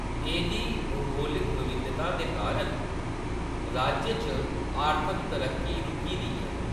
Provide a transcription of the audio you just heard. एह्‌‌‌दी भूगोलक विविधता दे कारण राज्य च आर्थक तरक्की रुकी दी ऐ।